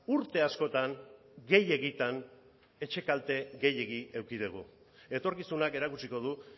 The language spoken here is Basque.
urte askotan gehiegitan etxe kalte gehiegi eduki dugu etorkizunak erakutsiko du